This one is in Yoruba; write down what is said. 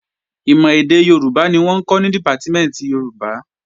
Ìmọ̀ èdè Yorùbá ni wọ́n ń kọ́ ní Dìpátímẹ̀ntì Yorùbá